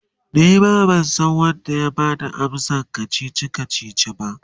Nima bansan Wanda ya Bada amsan kachichi kachichin ba